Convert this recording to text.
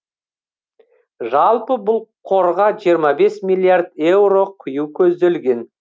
жалпы бұл қорға жиырма бес миллиард еуро құю көзделген